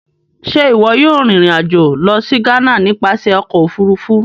Ṣe iwọ yóò rin ìrìn-àjò lọ si Ghana nipasẹ Ọkọ ofurufu?